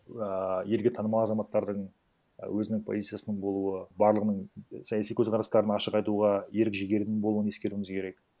ыыы елге танымал азаматтардың өзінің позициясының болуы барлығының саяси козқарастарын ашық айтуға ерік жігерінің болуын ескеруіміз керек